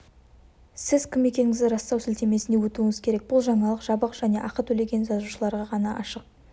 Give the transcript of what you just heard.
сіз кім екендігіңізді растау сілтемесіне өтуіңіз керек бұл жаңалық жабық және ақы төлеген жазылушыларға ғана ашық